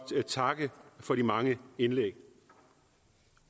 takke for de mange indlæg